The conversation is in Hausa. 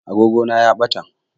Agogona ya ɓata